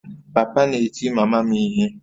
Papa na-eti mama m ihe